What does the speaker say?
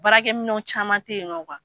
Baarakɛ minɛ caman tɛ yen nɔ